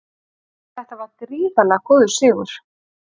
Þetta var gríðarlega góður sigur